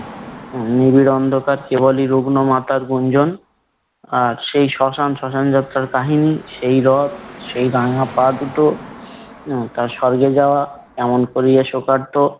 নিবিড় অন্ধকার কেবলই রুগ্ন মাতার গুঞ্জন আর সেই শ্মশান, শ্মশান যাত্রার কাহানি, সেই রথ, সেই রাঙা পা দুটো হম তার স্বর্গে যাওয়া এমন করিয়ে শোকার্ত